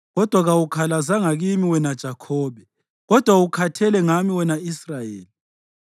Kodwa kawukhalazanga kimi wena Jakhobe, kodwa ukhathele ngami wena Israyeli.